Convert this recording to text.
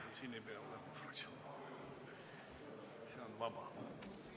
Siiski, siin ei pea sõna võtma fraktsiooni nimel, see on vaba sõnavõtt.